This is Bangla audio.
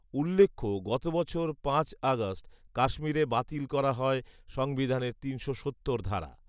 উল্লেখ্য, গত বছর পাঁচ অগাস্ট কাশ্মীরে বাতিল করা হয় সংবিধানের তিনশো সত্তর ধারা